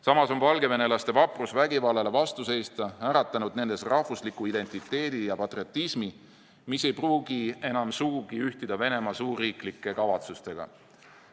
Samas on valgevenelaste vaprus vägivallale vastu seista äratanud nendes rahvusliku identiteedi ja patriotismi, mis ei pruugi enam sugugi ühtida Venemaa suurriiklike kavatsustega.